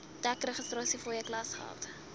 dek registrasiefooie klasgeld